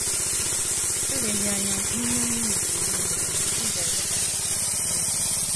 Eleghị anya, n’ime minit ole na ole, ị ga - enwetaghachi onwe gị.